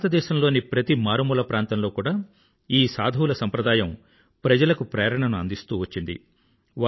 భారతదేశంలోని ప్రతి మారుమూల ప్రాంతంలో కూడా ఈ సాధువుల సంప్రదాయం ప్రజలకు ప్రేరణను అందిస్తూ వచ్చింది